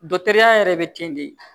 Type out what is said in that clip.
ya yɛrɛ be kin de ye